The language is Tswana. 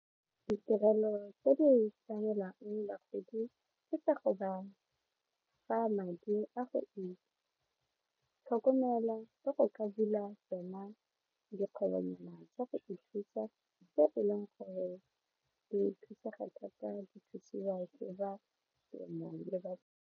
Ditirelo tse di tlamelang bagodi ke tsa go ba fa madi a go itlhokomela le go ka bula tsona dikgwebonyana tsa go ithusa go thusega thata .